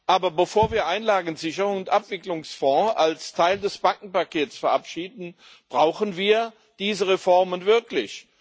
Aber bevor wir Einlagensicherungen und Abwicklungsfonds als Teil des Bankenpakets verabschieden, brauchen wir diese Reformen wirklich.